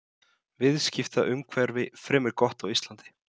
Amma varð alveg æf þegar hún heyrði þetta og kallaði alla listamenn landeyður.